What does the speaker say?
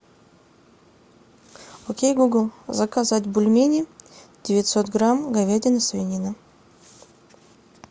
окей гугл заказать бульмени девятьсот грамм говядина свинина